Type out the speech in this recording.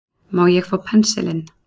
Má ég fá pensilinn.